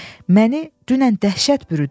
Məni dünən dəhşət bürüdü.